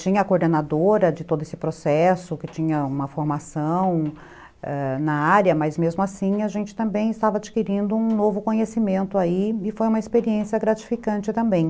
Tinha a coordenadora de todo esse processo, que tinha uma formação, ãh, na área, mas mesmo assim a gente também estava adquirindo um novo conhecimento aí e foi uma experiência gratificante também.